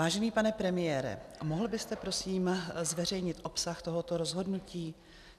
Vážený pane premiére, mohl byste prosím zveřejnit obsah tohoto rozhodnutí?